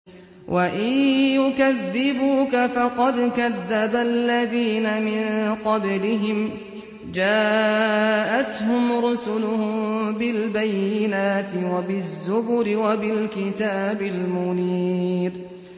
وَإِن يُكَذِّبُوكَ فَقَدْ كَذَّبَ الَّذِينَ مِن قَبْلِهِمْ جَاءَتْهُمْ رُسُلُهُم بِالْبَيِّنَاتِ وَبِالزُّبُرِ وَبِالْكِتَابِ الْمُنِيرِ